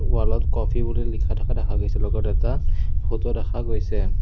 Wall ত coffee বুলি লিখা থকা দেখা গৈছে লগত এটা ফটো দেখা গৈছে।